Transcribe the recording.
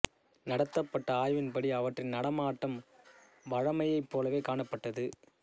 நடத்தப்பட்ட ஆய்வின் படி அவற்றின் நடமாட்டம் வழமையைப் போலவே காணப்பட்டது